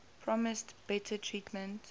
promised better treatment